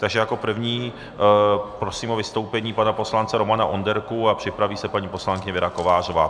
Takže jako prvního prosím o vystoupení pana poslance Romana Onderku a připraví se paní poslankyně Věra Kovářová.